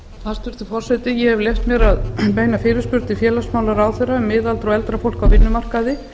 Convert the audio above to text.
hæstvirtur forseti ég hef leyft mér að beina fyrirspurn til félagsmálaráðherra um miðaldra og eldra fólk á vinnumarkaði